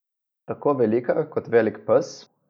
Tako velika kot velik pes?